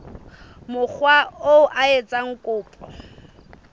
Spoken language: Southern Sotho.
mokga oo a etsang kopo